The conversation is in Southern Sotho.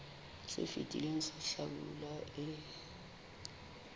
se fetileng sa hlabula e